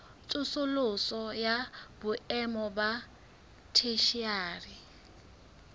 tsosoloso ya boemo ba theshiari